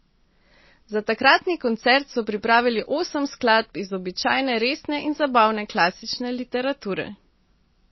Za takratni koncert so pripravili osem skladb iz običajne resne in zabavne klasične literature.